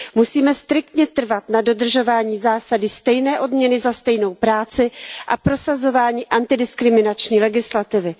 Musíme striktně trvat na dodržování zásady stejné odměny za stejnou práci a prosazování antidiskriminační legislativy.